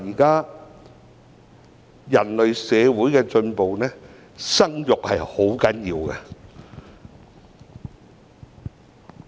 對人類社會的進步來說，生育十分重要。